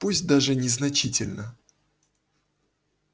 пусть даже незначительно